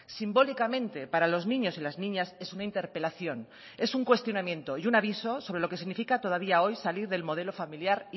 simbólicamente para los niños y las niñas es una interpelación es un cuestionamiento y un aviso sobre lo que significa todavía hoy salir del modelo familiar